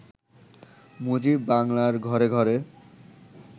মুজিব বাংলার ঘরে ঘরে